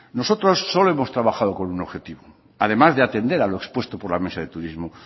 nosotros solo hemos trabajado con un objetivo además de atender a lo expuesto por la mesa de turismo